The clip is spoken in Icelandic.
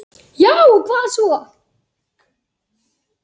Já og hvað svo!